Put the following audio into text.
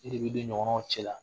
E de bɛ don i ɲɔgɔnnaw cɛla